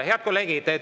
Head kolleegid!